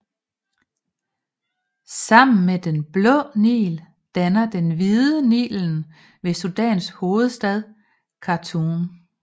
Sammen med Den Blå Nil danner Den Hvide Nil Nilen ved Sudans hovedstad Khartoum